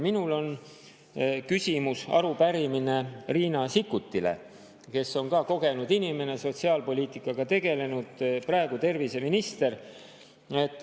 Minul on küsimus, arupärimine Riina Sikkutile, kes on kogenud inimene, sotsiaalpoliitikaga tegelenud, praegu terviseminister.